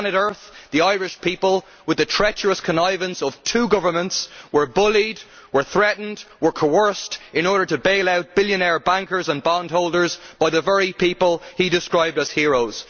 On Planet Earth the Irish people, with the treacherous connivance of two governments, were bullied, threatened and coerced in order to bail out billionaire bankers and bondholders by the very people he described as heroes.